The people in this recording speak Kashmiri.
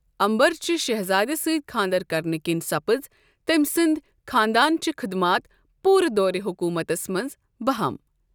امبر چہِ شہزادِ سۭتۍ خانٛدر کرنہٕ كِنۍ سپز تٔمۍ سٕنٛدۍ خانٛدانچہِ خدمات پورٕ دورِ حُکومتس منٛز بہم ۔